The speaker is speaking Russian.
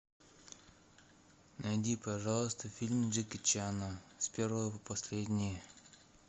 найди пожалуйста фильмы джеки чана с первого по последний